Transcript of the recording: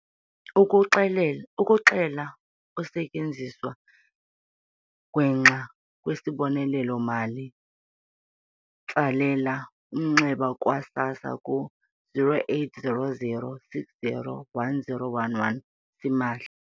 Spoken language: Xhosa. Ukuxela ukusetyenziswa gwenxa kwesibonelelo-mali, tsalela umnxeba kwa-SASSA ku-0800 60 10 11, simahla.